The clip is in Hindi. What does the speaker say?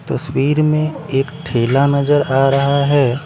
तस्वीर में एक ठेला नजर आ रहा हैं ।